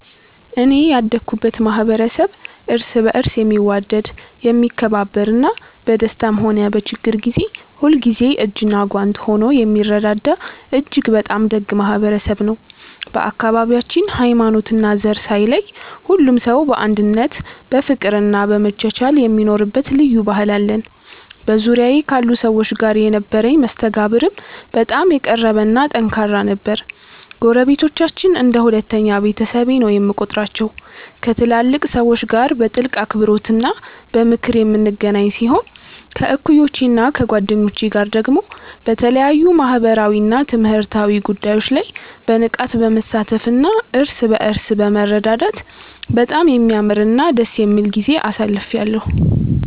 እኔ ያደኩበት ማኅበረሰብ እርስ በርስ የሚዋደድ፣ የሚከባበርና በደስታም ሆነ በችግር ጊዜ ሁልጊዜም እጅና ጓንት ሆኖ የሚረዳዳ እጅግ በጣም ደግ ማኅበረሰብ ነው። በአካባቢያችን ሃይማኖትና ዘር ሳይለይ ሁሉም ሰው በአንድነት በፍቅርና በመቻቻል የሚኖርበት ልዩ ባህል አለን። በዙሪያዬ ካሉ ሰዎች ጋር የነበረኝ መስተጋብርም በጣም የቀረበና ጠንካራ ነበር። ጎረቤቶቻችንን እንደ ሁለተኛ ቤተሰቤ ነው የምቆጥራቸው፤ ከትላልቅ ሰዎች ጋር በጥልቅ አክብሮትና በምክር የምንገናኝ ሲሆን፣ ከእኩዮቼና ከጓደኞቼ ጋር ደግሞ በተለያዩ ማኅበራዊና ትምህርታዊ ጉዳዮች ላይ በንቃት በመሳተፍና እርስ በርስ በመረዳዳት በጣም የሚያምርና ደስ የሚል ጊዜ አሳልፌአለሁ።